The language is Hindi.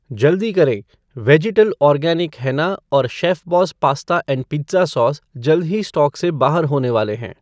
जल्दी करें, वेजिटल ऑर्गेनिक हेना और Chefboss pasta and pizza sauce जल्द ही स्टॉक से बाहर होने वाले हैं।